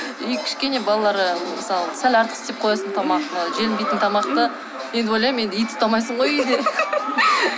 и кішкене балалар мысалы сәл артық істеп қоясың тамақты желінбейтін тамақты енді ойлаймын енді ит ұстамайсың ғой үйде